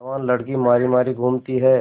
जवान लड़की मारी मारी घूमती है